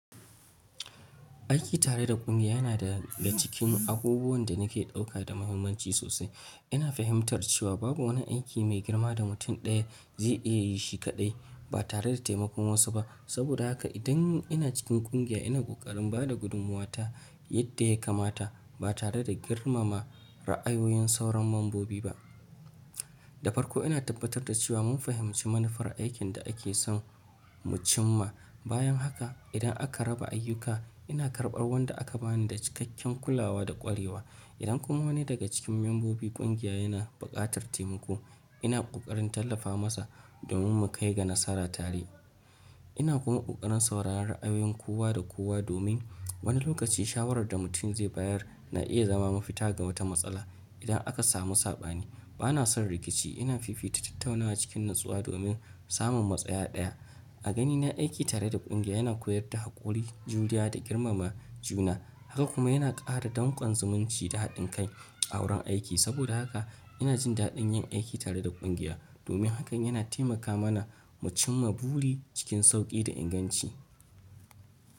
Aiki tare da kungiya yana daga cikin abubuwan da nake ɗauka da muhimmanci sosai. Ina fahimtar cewa babu wani aiki mai girma da mutum ɗaya zai iya yi shi kaɗai ba tare da taimakon wasu ba. Saboda haka idan ina cikin kungiya, ina ƙoƙarin ba da gudumuwata yadda ya kamata ba tare da girmama ra'ayoyin sauran mambobi ba. Da farko ina tabbatar da cewa mun fahimci manufar aikin da ake son mu cim ma. Bayan haka, idan aka raba ayyuka, ina karɓar wanda aka bani da cikakken kulawa da ƙwarewa. Idan kuma wani daga cikin mambobin kungiya yana buƙatar taimako, ina ƙoƙarin tallafa masa domin mu kai ga nasara tare. Ina kuma ƙoƙarin sauraron ra'ayoyin kowa da kowa domin wani lokaci shawarar da mutum zai bayar na iya zama mafita ga wata matsala idan aka samu saɓani. Bana son rikici. Ina fifita tattaunawa cikin natsuwa domin samun matsaya ɗaya. A ganina, aiki tare da kungiya yana koyar da haƙuri, juriya, da girmama juna. Haka kuma yana ƙara danƙon zumunci da haɗin kai a wurin aiki. Saboda haka ina jin daɗin yin aiki tare da kungiya domin hakan yana taimaka mana mu cimma buri cikin sauƙi da inganci.